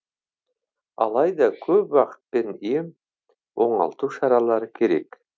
алайда көп уақыт пен ем оңалту шаралары керек